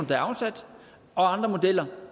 der er afsat og andre modeller